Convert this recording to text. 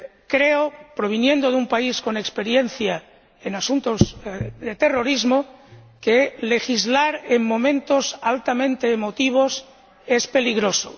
Creo —proviniendo de un país con experiencia en asuntos de terrorismo— que legislar en momentos altamente emotivos es peligroso.